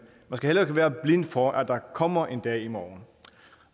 skal heller ikke være blind for at der kommer en dag i morgen